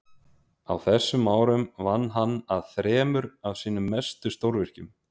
á þessum árum vann hann að þremur af sínum mestu stórvirkjum